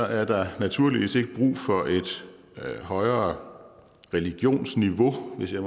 er der naturligvis ikke brug for et højere religionsniveau hvis jeg